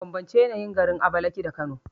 Bambance yanayin garin Abakalaki da Kano